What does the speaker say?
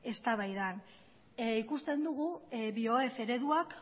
eztabaida ikusten dugu bioef ereduak